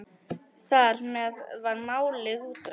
Þar með var málið útrætt.